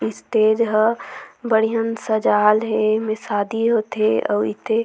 स्टेज ह बढ़ियन सजाल हे एमे शादी होंथे अऊ एते--